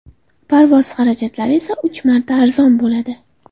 Parvoz xarajatlari esa uch marta arzon bo‘ladi.